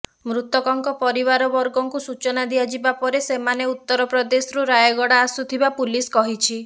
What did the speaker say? ମୃତକଙ୍କ ପରିବାର ବର୍ଗଙ୍କୁ ସୂଚନା ଦିଆଯିବା ପରେ ସେମାନେ ଉତ୍ତରପ୍ରଦେଶରୁ ରାୟଗଡ଼ା ଆସୁଥିବା ପୁଲିସ କହିଛି